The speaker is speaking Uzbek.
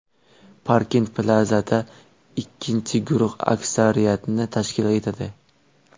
Parkent Plaza’da ikkinchi guruh aksariyatni tashkil etadi.